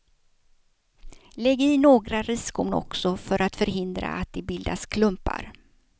Lägg i några riskorn också för att förhindra att det bildas klumpar.